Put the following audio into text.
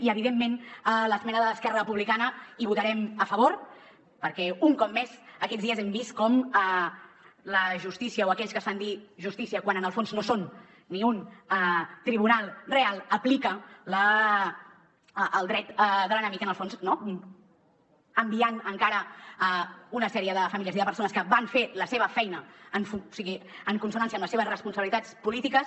i evidentment a l’esmena de l’esquerra republicana hi votarem a favor perquè un cop més aquests dies hem vist com la justícia o aquells que es fan dir justícia quan en el fons no són ni un tribunal real apliquen el dret de l’enemic en el fons enviant encara una sèrie de famílies i de persones que van fer la seva feina en consonància amb les seves responsabilitats polítiques